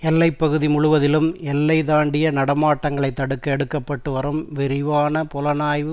எல்லைப்பகுதி முழுவதிலும் எல்லை தாண்டிய நடமாட்டங்களை தடுக்க எடுக்க பட்டு வரும் விரிவான புலனாய்வு